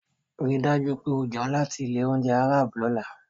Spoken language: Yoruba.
Rí i dájú pé o jẹun láti ilé-oúnjẹ Arab lọ́la.